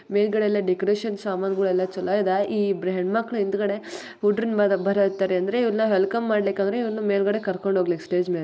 ಮೇಲ್ಗಡೆ ಎಲ್ಲಾ ಡೆಕೋರೇಷನ್ ಸಾಮಾನಗಳು ಎಲ್ಲಾ ಚೆನ್ನಾಗಿದೆ ಈ ಇಬ್ರು ಹೆಣ್ಮಕ್ಳು ಹಿಂದಗಡೆ ಊಟರಿಂಗ್ ಇದ್ರೆ ಇವ್ರ್ನಾ ವೆಲ್ಕಮ್ ಆದ್ರೂ ಇವ್ರನ್ನ ಕರ್ಕೊಂಡ್ಮಾ ಹೋಯಿಗ್ಲಿ ಸ್ಟೇಜ್ ಮೇಲೆ .